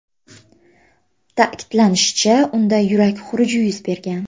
Ta’kidlanishicha, unda yurak xuruji yuz bergan.